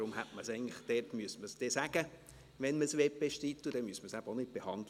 Deshalb müsste man sagen, wenn man es bestreiten möchte, sonst müsste man es eben auch nicht behandeln.